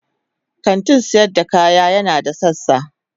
kantin sayar da kaya yana da sassa.